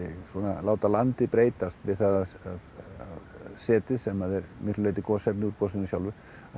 láta landið breytast við setið sem er miklu leyti gosefni úr gosinu sjálfu